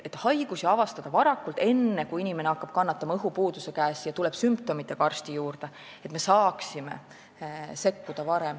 Haigus on siis avastatud varakult, enne kui inimene hakkab kannatama õhupuuduse käes ja tuleb sümptomitega arsti juurde, ning saab varem sekkuda.